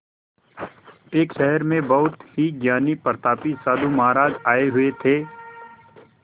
एक शहर में बहुत ही ज्ञानी प्रतापी साधु महाराज आये हुए थे